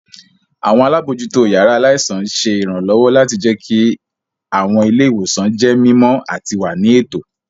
Àwọn alábòójútó yàrá aláìsàn ṣé ìrànlọ́wọ́ láti jẹkí àwọn ilé-ìwòsàn jẹ́ mímọ àti wà ní ètò